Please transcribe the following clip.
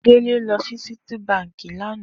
Dele lò si Citi bànkí lànã